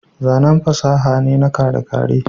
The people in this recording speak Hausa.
zanen fasaha ne na kere-kere